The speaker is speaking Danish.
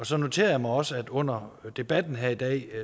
så noterer jeg mig også at vi under debatten her i dag jo